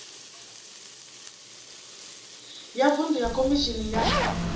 ya vuṅdu ya khomishini ya